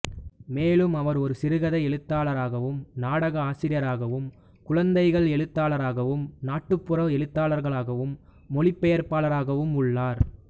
மேலும் அவர் ஒரு சிறுகதை எழுத்தாளராகவும் நாடக ஆசிரியராகவும் குழந்தைகள் எழுத்தாளராகவும் நாட்டுப்புற எழுத்தாளராகவும் மொழிபெயர்ப்பாளராகவும் உள்ளார்